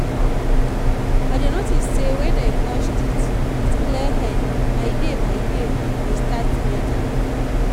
i dey notice say when i brush teeth with clear head my day my day dey start better.